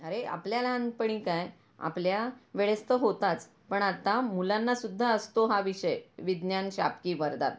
अरे आपल्या लहानपणी काय, आपल्या वेळेस तर होताच पण आता मुलांना सुद्धा असतो हा विषय, विज्ञान शाप की वरदान.